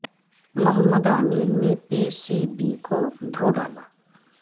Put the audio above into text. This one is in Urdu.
محمد عامر نے پی سی بی کو دھو ڈالا